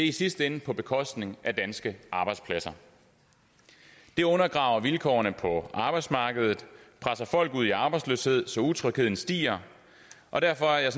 i sidste ende på bekostning af danske arbejdspladser det undergraver vilkårene på arbejdsmarkedet presser folk ud i arbejdsløshed så utrygheden stiger og derfor er jeg